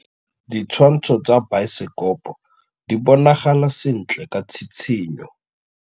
Ditshwantshô tsa biosekopo di bonagala sentle ka tshitshinyô.